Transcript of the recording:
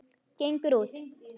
Gengur út.